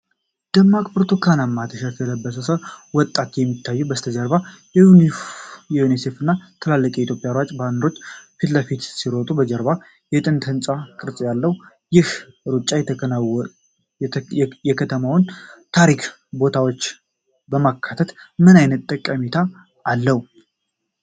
ደማቅ ብርቱካናማ ቲሸርቶችን ለብሰው ወጣቶች የሚታዩት፣ ከበስተጀርባ በዩኒሴፍ እና በትልቁ የኢትዮጵያ ሩጫ ባነሮች ፊት ለፊት ሲሮጡ፣ ከጀርባው የጥንት ህንጻ ቅርጽ ያለው፣ ይህ ሩጫ የከተማውን ታሪካዊ ቦታዎች በማካተት ምን አይነት ጠቃሚነት አለው?